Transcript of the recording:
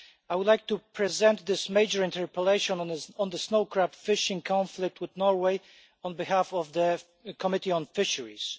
I would like to present this major interpellation on the snow crab fishing conflict with Norway on behalf of the Committee on Fisheries.